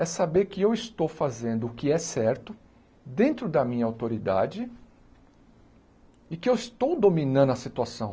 É saber que eu estou fazendo o que é certo dentro da minha autoridade e que eu estou dominando a situação.